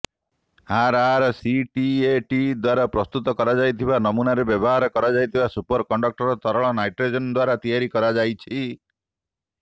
RRCAT ଦ୍ୱାରା ପ୍ରସ୍ତୁତ କରାଯାଇଥିବା ନମୁନାରେ ବ୍ୟବହାର କରାଯାଇଥିବା ସୁପର କଣ୍ଡକ୍ଟର ତରଳ ନାଇଟ୍ରୋଜେନ୍ ଦ୍ୱାରା ତିଆରି କରାଯାଇଛି